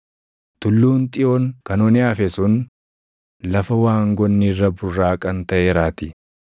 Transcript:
Tulluun Xiyoon kan onee hafe sun lafa waangoonni irra burraaqan taʼeeraatii.